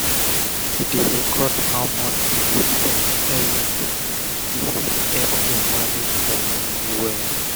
if u dey record how much u dey spend everi tym e fit epp u manage ur moni wel